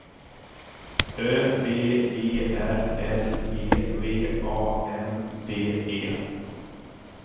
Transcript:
Ö V E R L E V A N D E